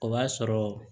O b'a sɔrɔ